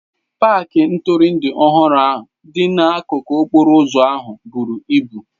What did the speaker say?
paaki ntụrụndụ ọhụrụ dị n'akụkụ okporo ụzọ ahụ buru ibu.